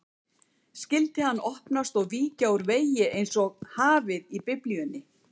Skyldi hann opnast og víkja úr vegi einsog hafið í Biblíunni?